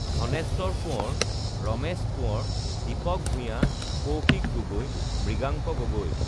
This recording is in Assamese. ধণেশ্বৰ কোঁৱৰ ৰমেশ কোঁৱৰ দ্বিপক ভূঞা কৌশিক গগৈ মৃগাংক গগৈ